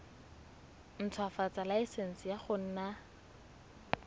ntshwafatsa laesense ya go nna